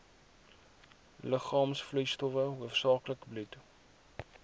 liggaamsvloeistowwe hoofsaaklik bloed